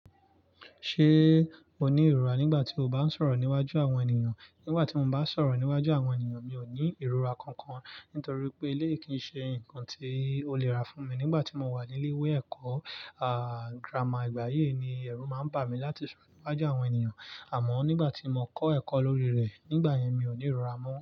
Ṣé mo ní ìrora nígbà tí mo bá ń sọ̀rọ̀ níwájú àwọn ènìyàn? Nígbà tí mo bá ń sọ̀rọ̀ níwájú àwọn ènìyàn mi ò ní ìrora kankan nítorí pé eléyi kì í ṣe nǹkan tí ó le ra fún mi. Nígbà tí mo wà ní ilé ìwé ẹ̀kọ́, àá, girama ìgbà yii ni ẹ̀rù máa ń bà mí láti sọ̀rọ̀ níwájú àwọn ènìyàn. Àmọ́ nígbà tí mo kọ́ ẹ̀kọ́ lórí rẹ̀ nígbà yẹn mi ò ní ìrora mọ́.